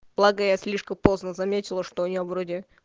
благая слишком поздно заметила что у нее вроде